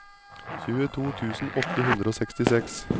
tjueto tusen åtte hundre og sekstiseks